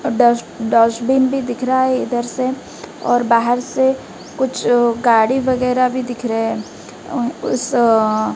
डस dustbin भी दिख रहा है इधर से और बाहर से कुछ गाड़ी वगैरह भी दिख रहे हैं अ उस अ--